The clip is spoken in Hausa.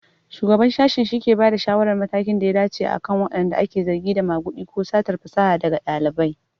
Shugaban Sashen shike bada shawarar matakin da ya dace akan wanda ake zargi da magudi ko satar fasaha daga ɗalibai.